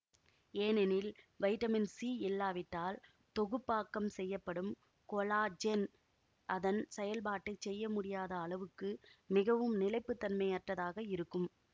ஏனெனில் vitamin C இல்லாவிட்டால் தொகுப்பாக்கம் செய்யப்படும் கொலாஜென் அதன் செயல்பாட்டைச் செய்ய முடியாத அளவுக்கு மிகவும் நிலைப்பு தன்மையற்றதாக இருக்கும்